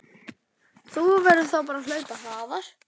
Þá verður þú bara að hlaupa hraðar